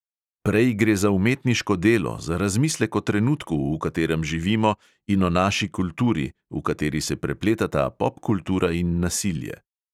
Prej gre za umetniško delo, za razmislek o trenutku, v katerem živimo, in o naši kulturi, v kateri se prepletata popkultura in nasilje.